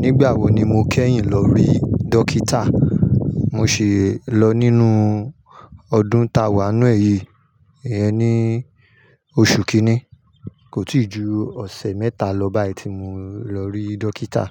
Nígbà wo ni mo kẹ́yìn lọ rí dókítà? Mo ṣi lọ nínú ọdún ta wà ninu è yí, iyen ni oṣù kínní. Kò tíì ju ọ̀sẹ̀ mẹ́ta lọ báyìí tí mo lọ rí dókítà.